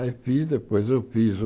Aí fiz, depois eu fiz o...